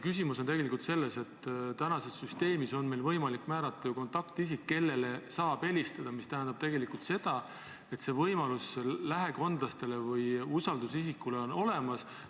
Küsimus on tegelikult selles, et praeguses süsteemis on meil võimalik määrata kontaktisik, kellele saab helistada, mis tähendab seda, et see võimalus on lähikondlastel või usaldusisikul olemas.